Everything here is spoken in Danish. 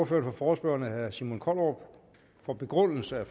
for forespørgerne herre simon kollerup for begrundelse af